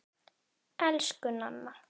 Elsku Nanna.